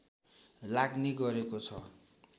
लाग्ने गरेको छ